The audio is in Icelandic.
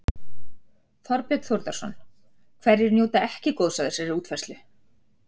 Þorbjörn Þórðarson: Hverjir njóta ekki góðs af þessari útfærslu?